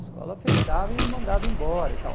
A escola fechava e me mandava embora e tal.